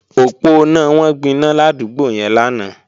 Òponá wọn gbiná ládúgbò yẹn lánàá